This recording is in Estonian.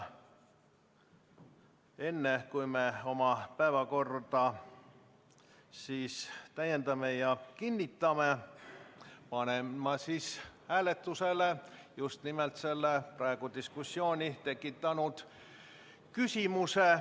Enne kui me oma päevakorda täiendame ja kinnitame, panen hääletusele selle praegu diskussiooni tekitanud küsimuse.